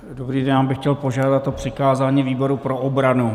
Dobrý den, já bych chtěl požádat o přikázání výboru pro obranu.